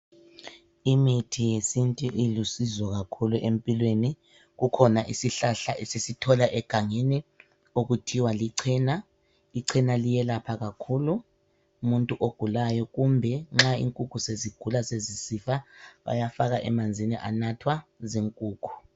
Imithi yesintu ilusizo kakhulu empilweni kukhona isihlahla esisithola egangeni okuthiwa lichena . Ichena liyelapha kakhulu umuntu ogulayo kumbe nxa inkukhu sezigula sezisifa bayafaka emanzini balaphe inkukhu